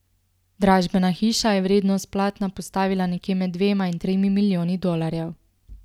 Dražbena hiša je vrednost platna postavila nekje med dvema in tremi milijoni dolarjev.